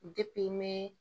mɛn